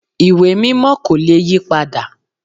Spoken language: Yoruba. Ìwé Mímọ́ kò le yí padà